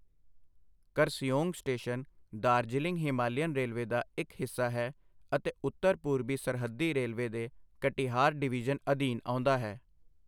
Kurseong station Darjeeling Himalayan railway ਦਾ ਇੱਕ ਹਿੱਸਾ ਹੈ ਅਤੇ ਉੱਤਰ ਪੂਰਬੀ ਸਰਹੱਦੀ ਰੇਲਵੇ ਦੇ ਕਟਿਹਾਰ ਡਿਵੀਜ਼ਨ ਅਧੀਨ ਆਉਂਦਾ ਹੈ।